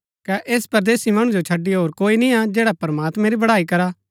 कै ऐस परदेसी मणु जो छड़ी होर कोई निय्आ जैडा प्रमात्मैं री बड़ाई करा